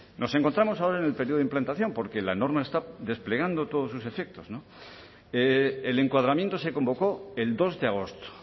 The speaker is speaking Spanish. nos encontramos ahora en el periodo implantación porque la norma está desplegando todos sus efectos el encuadramiento se convocó el dos de agosto